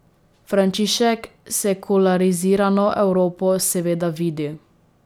Frančišek sekularizirano Evropo seveda vidi.